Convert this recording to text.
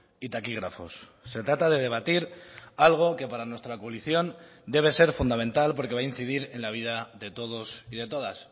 y taquígrafos se trata de debatir algo que para nuestra coalición debe ser fundamental porque va a incidir en la vida de todos y de todas